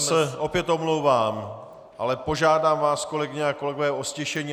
Já se opět omlouvám, ale požádám vás, kolegyně a kolegové, o ztišení!